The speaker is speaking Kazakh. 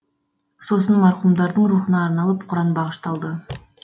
сосын марқұмдардың рухына арналып құран бағышталды